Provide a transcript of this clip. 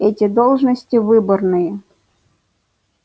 эти должности выборные